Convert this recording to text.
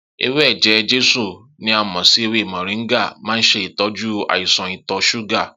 Ewé eje-jesu ni a mò sí ewé mọ̀ríńgà máa n ṣe ìtọ́jú àìsàn ìtọ̀ ṣúgà